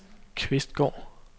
Kvistgård